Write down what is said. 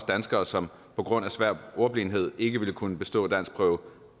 danskere som på grund af svær ordblindhed ikke ville kunne bestå danskprøve